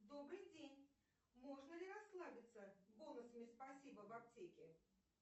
добрый день можно ли расслабиться бонусами спасибо в аптеке